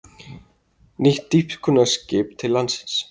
Nýtt dýpkunarskip til landsins